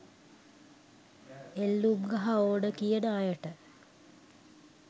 එල්ලුම් ගහ ඕන කියන අයට